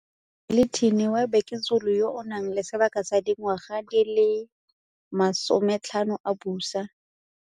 Zwelithini wa Bhekuzulu yo a nang le sebaka sa dingwaga di le masome tlhano a busa.